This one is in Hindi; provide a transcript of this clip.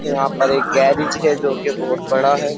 यहां पर एक गैरेज है जो कि बहुत बड़ा है।